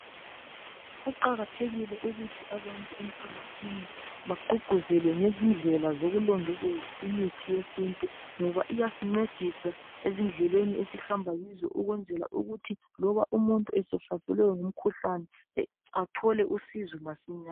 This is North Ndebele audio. Kuqakathekile ukuthi abantu emphakathini bagququzelwe ngezindlela zokulondoloza imithi yesintu ngoba iyasingcedisa ezindleleni esihamba kizo ukwenzela ukuthi loba umuntu esehlaselwe ngumkhuhlane athole usizo masinyane